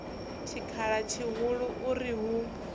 tshikhala tshihulu u ri hu